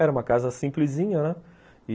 Era uma casa simplesinha, né?